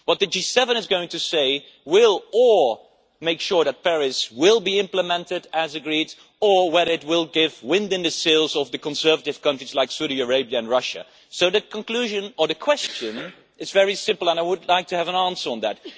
What the G7 is going to say will either make sure that Paris will be implemented as agreed, or it will put the wind in the sails of conservative countries like Saudi Arabia and Russia. So, the conclusion of the question is very simple, and I would like to have an answer on that.